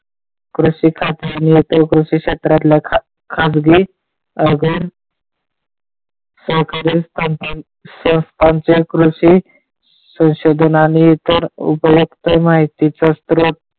कृषी खाते आणि कृषी क्षेत्रातल्या खाजगी अवघड सह संस्थांची कृषी संशोधन आणि उपयुक्त माहितीचा स्त्रोत,